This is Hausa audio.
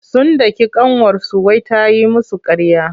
Sun daki ƙanwarsu wai ta yi musu ƙarya.